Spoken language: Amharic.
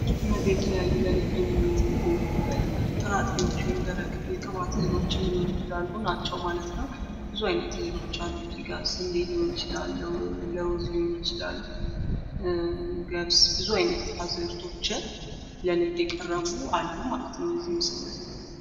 እነዜ የተለያዩ ለንግድ የሚዉሉ ጥራጥሬዎች ወይም ደረቅ የቅባት እህሎችም ሊሆኑ ይችላሉ ናችው ማለት ነው። ብዙ አይነት እህሎች አሉ እዚህ ጋ። ስንዴ ሊሆን ለዉዝ ሊሆን ይችላል። ገብስ ብዙ አይነት አዝእርቶች ለንግድ የቀረቡ አሉ ማለት ነው እዚህ ጋ።